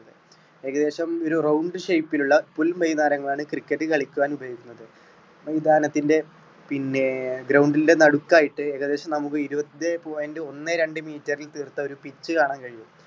ഏകദേശം ഒരു round shape ലുള്ള പുൽ മൈതാനങ്ങളാണ് cricket കളിക്കുവാൻ ഉപയോഗിക്കുന്നത്. മൈതാനത്തിന്റെ പിന്നെ ground ന്റെ നടുക്കായിട്ട് ഏകദേശം നമുക്ക് ഒരു ഇരുപത്തൻേഞ്ച point ഒന്നേ രണ്ട് meter റിൽ തീർത്ത ഒരു pitch കാണാൻ കഴിയും.